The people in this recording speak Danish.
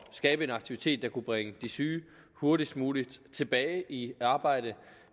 skabe en aktivitet der kunne bringe de syge hurtigst muligt tilbage i arbejde